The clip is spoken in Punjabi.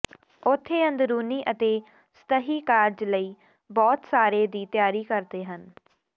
ਉੱਥੇ ਅੰਦਰੂਨੀ ਅਤੇ ਸਤਹੀ ਕਾਰਜ ਲਈ ਬਹੁਤ ਸਾਰੇ ਦੀ ਤਿਆਰੀ ਕਰਦੇ ਹਨ